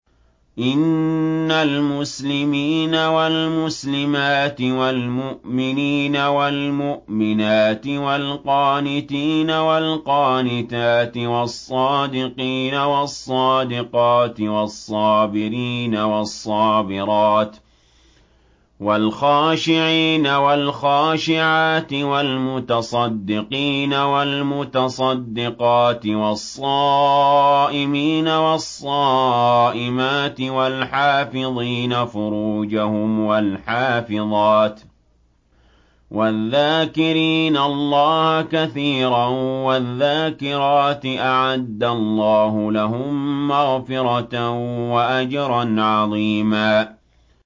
إِنَّ الْمُسْلِمِينَ وَالْمُسْلِمَاتِ وَالْمُؤْمِنِينَ وَالْمُؤْمِنَاتِ وَالْقَانِتِينَ وَالْقَانِتَاتِ وَالصَّادِقِينَ وَالصَّادِقَاتِ وَالصَّابِرِينَ وَالصَّابِرَاتِ وَالْخَاشِعِينَ وَالْخَاشِعَاتِ وَالْمُتَصَدِّقِينَ وَالْمُتَصَدِّقَاتِ وَالصَّائِمِينَ وَالصَّائِمَاتِ وَالْحَافِظِينَ فُرُوجَهُمْ وَالْحَافِظَاتِ وَالذَّاكِرِينَ اللَّهَ كَثِيرًا وَالذَّاكِرَاتِ أَعَدَّ اللَّهُ لَهُم مَّغْفِرَةً وَأَجْرًا عَظِيمًا